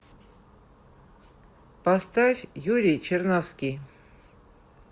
поставь юрий чернавский